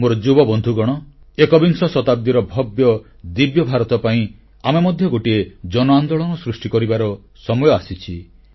ମୋର ଯୁବବନ୍ଧୁଗଣ ଏକବିଂଶ ଶତାବ୍ଦୀର ଭବ୍ୟଦିବ୍ୟ ଭାରତ ପାଇଁ ଆମେ ମଧ୍ୟ ଗୋଟିଏ ଜନଆନ୍ଦୋଳନ ସୃଷ୍ଟି କରିବାର ସମୟ ଆସିଛି